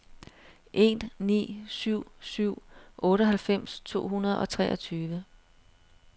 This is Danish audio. en ni syv syv otteoghalvfems to hundrede og treogtyve